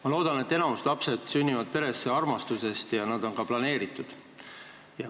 Ma loodan, et enamik lapsi sünnib peresse armastusest ja nad on ka planeeritud.